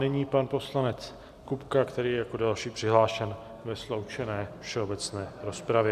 Nyní pan poslanec Kupka, který je jako další přihlášen do sloučené všeobecné rozpravy.